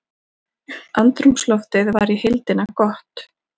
Andrúmsloftið var í heildina gott